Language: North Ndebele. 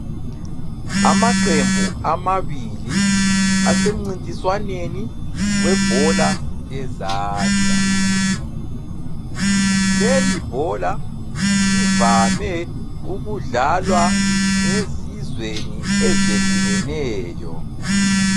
Amaqembu amabili asemncintiswaneni webhola lezandla ,lelibhola livame ukudlalwa ezizweni ezehlukeneyo